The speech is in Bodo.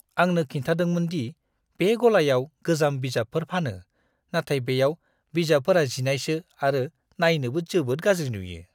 आंनो खिन्थादोंमोन दि बे गलायाव गोजाम बिजाबफोर फानो, नाथाय बेयाव बिजाबफोरा जिनायसो आरो नायनोबो जोबोद गाज्रि नुयो!